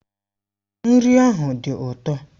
Nri ahụ dị ụtọ.